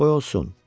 Qoy olsun.